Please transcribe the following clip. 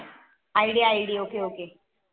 IDIDOKOK